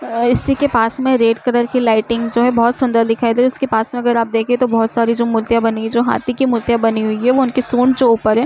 इसी के पास में रेड कलर की लाइटिंग जो है बहोत सुन्दर दिखाई दे रही है। उसके पास में अगर आप देखे तो बहोत सारी मुर्तियां बनी है जो हाथी की मुर्तियां बानी हुयी है वो उनके ऊपर है।